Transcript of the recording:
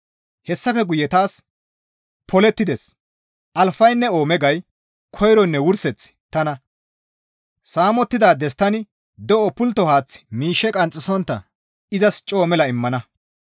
Hessafe guye taas, «Polettides! Alfaynne Oomegay; Koyroynne Wurseththi tana; saamettidaades tani de7o pultto haath miishshe qanxxisontta izas coo mela immana.